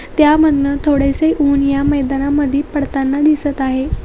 त्यामधुन थोडेस ऊन या मैदानामध्ये पडताना दिसत आहे.